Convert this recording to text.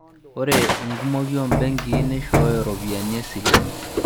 Ore enkumoki oo mbenkii neishoyo ropiyiani esile